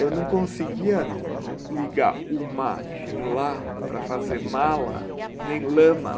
Eu não conseguia li ligar o ma com la para fazer mala, nem lama.